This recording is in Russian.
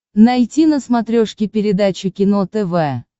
найти на смотрешке передачу кино тв